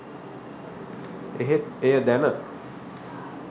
එහෙත් එය දැන